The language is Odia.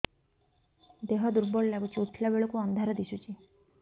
ଦେହ ଦୁର୍ବଳ ଲାଗୁଛି ଉଠିଲା ବେଳକୁ ଅନ୍ଧାର ଦିଶୁଚି